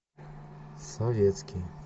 советский